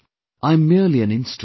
I am merely an instrument